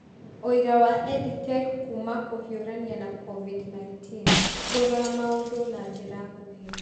Ũira wa EdTech Kuuma Kũhiũrania na COVID-19: Kũrora maũndũ na njĩra nguhĩ